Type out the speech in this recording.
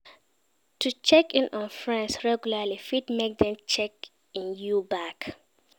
To check in on friends regularly fit make dem check in you back